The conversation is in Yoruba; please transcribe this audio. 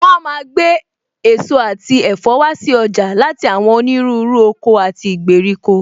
Wọn a máa gbé èso àti ẹ̀fọ́ wá si ọjà láti àwọn onírúurú oko àti ìgbèríko